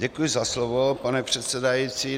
Děkuji za slovo, pane předsedající.